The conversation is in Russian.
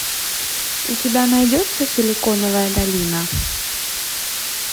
у тебя найдется силиконовая долина